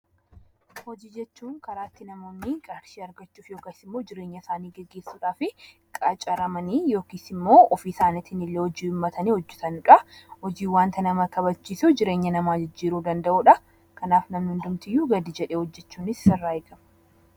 Hojii jechuun karaa ittiin namoonni qarshii argachuuf yookiin immoo jireenya isaanii gaggeessuuf qacaramanii yookiin immoo ofii isaanii hojii uummatanii hojjatanidha. Hojiin wanta nama kabachiisu jireenya namaa jijjiiruu danda'udha. Kanaaf namni hundi gadi jedhee hojjachuun isaarraa eegama.